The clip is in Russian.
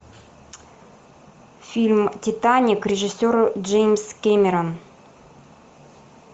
фильм титаник режиссер джеймс кэмерон